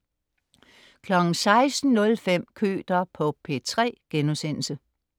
16.05 Køter på P3*